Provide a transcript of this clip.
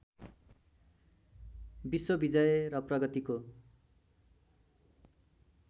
विश्वविजय र प्रगतिको